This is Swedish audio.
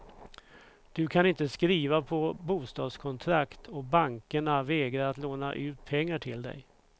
Du kan inte skriva på bostadskontrakt och bankerna vägrar att låna ut pengar till dig.